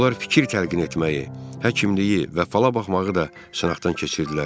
Onlar fikir təlqin etməyi, həkimliyi və falabaxmağı da sınaqdan keçirtdilər.